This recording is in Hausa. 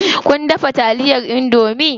Kun dafa taliyar indomie?